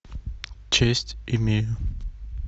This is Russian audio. честь имею